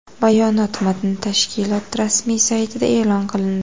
Bayonot matni tashkilot rasmiy saytida e’lon qilindi .